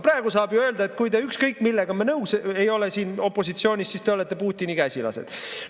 Praegu saab öelda, et kui te ükskõik millega nõus ei ole siin opositsioonis, siis te olete Putini käsilased.